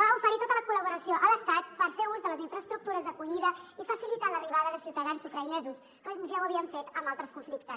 va oferir tota la col·laboració a l’estat per fer ús de les infraestructures d’acollida i facilitar l’arribada de ciutadans ucraïnesos com ja ho havien fet en altres conflictes